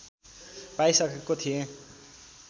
पाइसकेको थिएँ